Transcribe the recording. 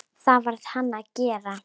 Það varð hann að gera.